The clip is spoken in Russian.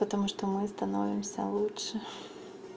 потому что мы становимся лучше